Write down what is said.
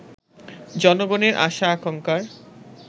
জনগণের আশা-আকাঙ্ক্ষার